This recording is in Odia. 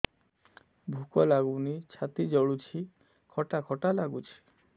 ଭୁକ ଲାଗୁନି ଛାତି ଜଳୁଛି ଖଟା ଖଟା ଲାଗୁଛି